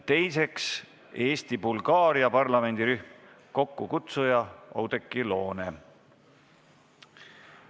Teiseks, Eesti-Bulgaaria parlamendirühm, kokkukutsuja on Oudekki Loone.